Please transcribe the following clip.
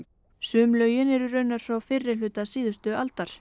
sum lögin eru raunar frá fyrri hluta síðustu aldar